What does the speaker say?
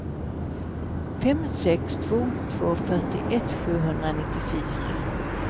fem sex två två fyrtioett sjuhundranittiofyra